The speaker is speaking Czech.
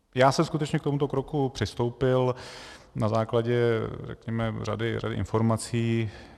Já jsem skutečně k tomuto kroku přistoupil na základě řady informací.